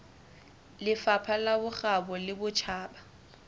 lefapha la bokgabo le botjhaba